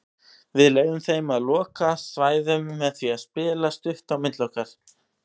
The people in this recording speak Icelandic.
Við leyfðum þeim að loka svæðum með því að spila stutt á milli okkar.